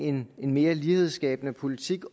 en mere lighedsskabende politik